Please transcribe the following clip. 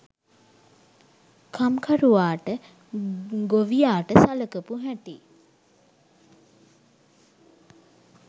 කම්කරුවාට ගොවියාට සලකපු හැටි